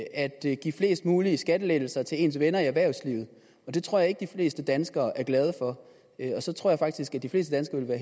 at at give flest mulige skattelettelser til ens venner i erhvervslivet og det tror jeg ikke de fleste danskere er glade for så tror jeg faktisk at de fleste danskere